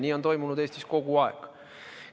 Nii on toimunud Eestis kogu aeg.